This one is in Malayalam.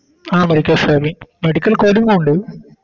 ആ Medical scribing medical coding ഉ ഉണ്ട്